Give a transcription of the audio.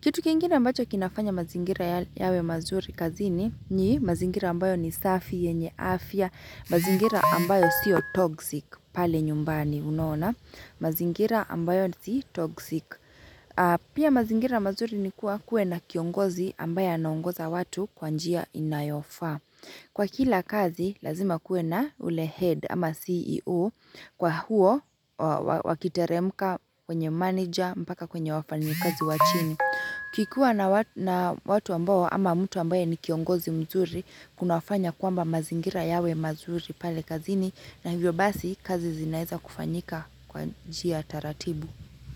Kitu kingine ambacho kinafanya mazingira yawe mazuri kazini ni mazingira ambayo ni safi yenye afya, mazingira ambayo siyo toxic pale nyumbani unaona, mazingira ambayo si toxic. Pia mazingira mazuri ni kuwa kuwe na kiongozi ambaye anaongoza watu kwa njia inayofaa. Kwa kila kazi lazima kuwe na ule head ama CEO kwa huo wakiteremka kwenye manager mpaka kwenye wafanyikazi wa chini. Kikuwa na watu ambao ama mtu ambaye ni kiongozi mzuri kuna fanya kwamba mazingira yawe mazuri pale kazini na hivyo basi kazi zinaeza kufanyika kwa njia taratibu.